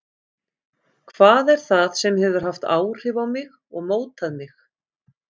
Hvað er það sem hefur haft áhrif á mig og mótað mig?